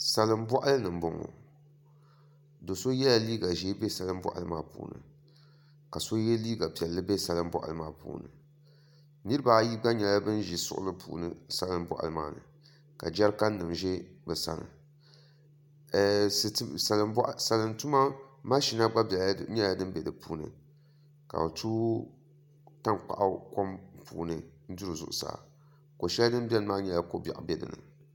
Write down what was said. Salin boɣali ni n boŋo do so yɛla liiga ʒiɛ bɛ salin boɣali maa puuni ka so yɛ liiga piɛlli bɛ salin boɣali maa puuni nirabaayi gba nyɛla bin ʒi suɣli ni salin boɣali maa puuni ka jɛrikan nim bɛ bi sani salin tuma mashin nim gba nyɛla din bɛ di puuni ka bi tooi tankpaɣu kom puuni n duri zuɣusaa ko shɛli din biɛni maa nyɛla ko biɛɣu bɛ dinni